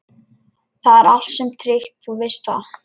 Þetta er allt saman tryggt, þú veist það.